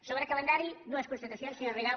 sobre calendari dues constatacions senyora rigau